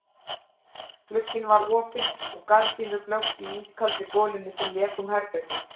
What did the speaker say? Glugginn var opinn og gardínur blöktu í ískaldri golunni sem lék um herbergið.